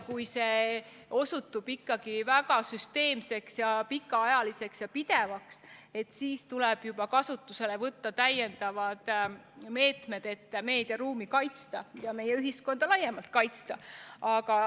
Kui viha õhutamine osutub ikkagi väga süsteemseks, pikaajaliseks ja pidevaks, siis tuleb kasutusele võtta juba täiendavad meetmed, et meediaruumi ja meie ühiskonda laiemalt kaitsta.